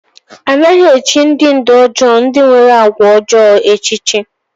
A naghị echì ndị ndú ọjọọ ndị nwere àgwà ọjọọ echichi.